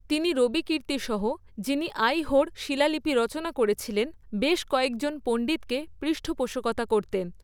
তিনি রবিকীর্ত্তি সহ, যিনি আইহোড় শিলালিপি রচনা করেছিলেন, বেশ কয়েকজন পণ্ডিতকে পৃষ্ঠপোষকতা করতেন।